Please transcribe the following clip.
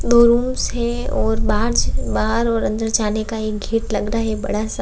दो रूम्स है और बाहर्ज बाहर और अंदर जाने का एक गेट लग रहा है बड़ा सा।